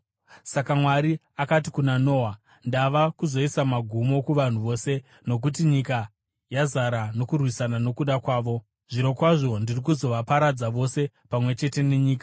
Saka Mwari akati kuna Noa, “Ndava kuzoisa magumo kuvanhu vose, nokuti nyika yazara nokurwisana nokuda kwavo. Zvirokwazvo ndiri kuzovaparadza vose pamwe chete nenyika.